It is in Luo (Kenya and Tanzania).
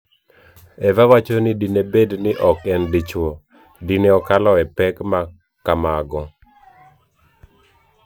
Eva wacho ni dine bed ni ok en dichwo, dine okalo e pek ma kamago.